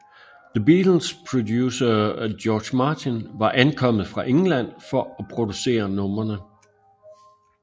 The Beatles producer George Martin var ankommet fra England for at producere numrene